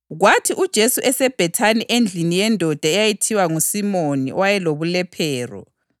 Kwathi uJesu eseBhethani endlini yendoda eyayithiwa nguSimoni owayelobulephero,